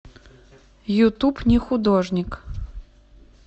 ютуб нехудожник